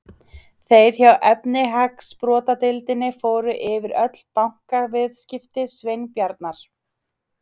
Þeir hjá efnahagsbrotadeildinni fóru yfir öll bankaviðskipti Sveinbjarnar.